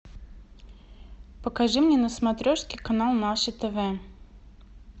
покажи мне на смотрешке канал наше тв